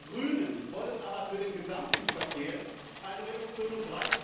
Wir Grünen wollen aber für den gesamten Verkehr eine Reduktion um